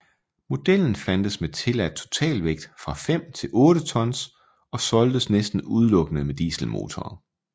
Modellen fandtes med tilladt totalvægt fra 5 til 8 tons og solgtes næsten udelukkende med dieselmotor